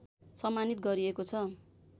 सम्मानित गरिएको छ